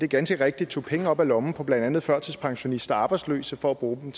ganske rigtigt tog penge op af lommen på blandt andet førtidspensionister og arbejdsløse for at bruge dem